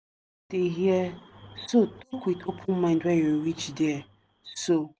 dey hear so talk with open mind when you reach there so.